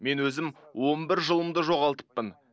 мен өзім он бір жылымды жоғалтыппын